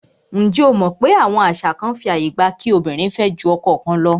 Njé o mọ̀ wípé àwọn àṣà kán fí ààyè gba kí obìnrin fẹ́ jù ọkọ kan lọ?